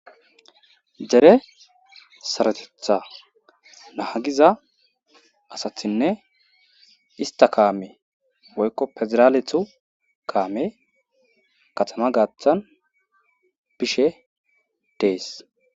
dere sarotetha nahagiza asathinne ista kaame woykko pezeraaletu kaame katama gaaththan bishe dees